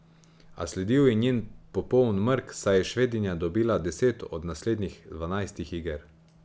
A sledil je njen popoln mrk, saj je Švedinja dobila deset od naslednjih dvanajstih iger.